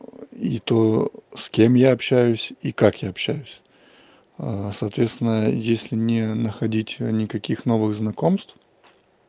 и то с кем я общаюсь и как я общаюсь соответственно если не находить никаких новых знакомств